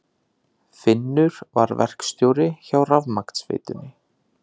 Finnur var verkstjóri hjá rafmagnsveitunni.